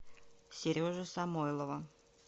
сережи самойлова